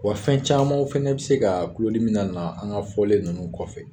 Wa fɛn camanw fɛnɛ bi se kaa tulodimi na naa an ŋa fɔlen nunnu kɔfɛ.